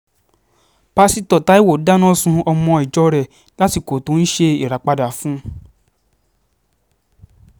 pásítọ̀ taiwo dáná sun ọmọ ìjọ rẹ̀ lásìkò tó ń ṣe ìràpadà fún un